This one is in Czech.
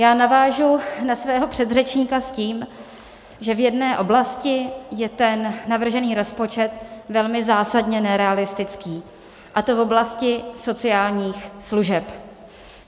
Já navážu na svého předřečníka s tím, že v jedné oblasti je ten navržený rozpočet velmi zásadně nerealistický, a to v oblasti sociálních služeb.